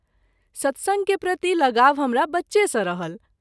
सत्संग के प्रति लगाव हमरा बच्चे सँ रहल।